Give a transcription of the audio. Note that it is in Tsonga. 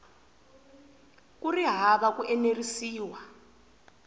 ku ri hava ku enerisiwa